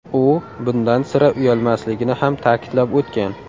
U bundan sira uyalmasligini ham ta’kidlab o‘tgan.